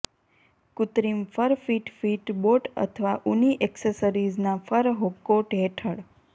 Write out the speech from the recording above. કૃત્રિમ fur fit fit boat અથવા ઊની એક્સેસરીઝના ફર કોટ હેઠળ